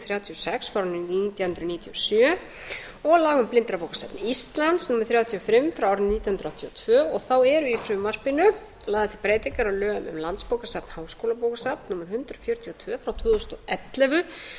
þrjátíu og sex nítján hundruð níutíu og sjö og laga um blindrabókasafn íslands númer þrjátíu og fimm nítján hundruð áttatíu og tvö og þá eru í frumvarpinu til breytingar á lögum um landsbókasafn háskólabókasafn númer hundrað fjörutíu og tvö tvö þúsund og ellefu